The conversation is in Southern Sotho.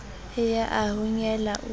e ya e honyela o